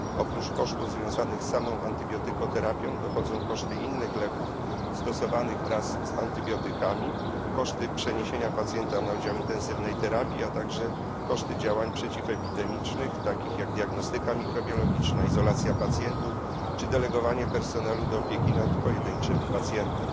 Oprócz kosztów związanych z samą antybiotykoterapią dochodzą koszty innych leków stosowanych wraz z antybiotykami, koszty przeniesienia pacjenta na oddział intensywnej terapii, a także koszty działań przeciwepidemicznych, takich jak diagnostyka mikrobiologiczna, izolacja pacjentów czy delegowanie personelu do opieki nad pojedynczym pacjentem.